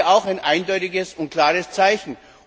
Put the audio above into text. Das wäre auch ein eindeutiges und klares Zeichen.